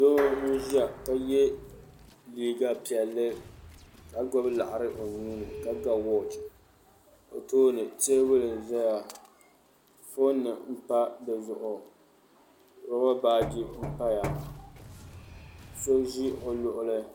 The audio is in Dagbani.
Doo n ʒiya ka yɛ liiga piɛlli ka gbubi laɣari o nuuni ka ga wooch o tooni teebuli n ʒɛya foon nim n pa dizuɣu roba baaji n paya so ʒi o luɣuli